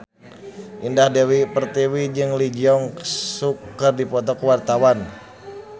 Indah Dewi Pertiwi jeung Lee Jeong Suk keur dipoto ku wartawan